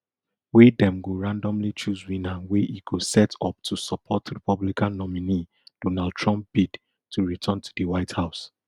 wey dem go randomly choose winner wey e go set up to support republican nominee donald trump bid to return to di white house